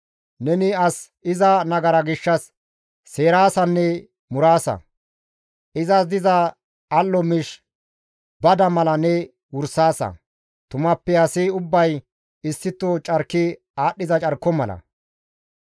Neni as iza nagara gishshas seeraasanne muraasa; izas diza al7o miish bada mala ne wursaasa; tumappe asi ubbay issito carki aadhdhiza carko mala.